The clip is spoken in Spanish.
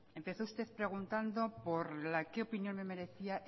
empezó usted preguntando por la que opinión me merecía